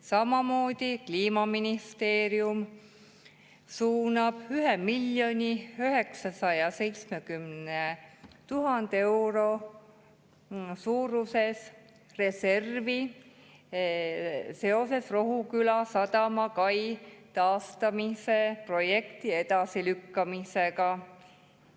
Samamoodi suunab Kliimaministeerium 1 970 000 eurot reservi seoses Rohuküla sadama kai taastamise projekti edasilükkamisega.